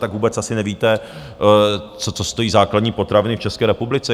Tak vůbec asi nevíte, co stojí základní potraviny v České republice.